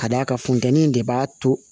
Ka d'a kan futɛni de b'a to